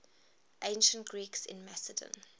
ancient greeks in macedon